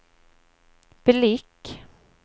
blick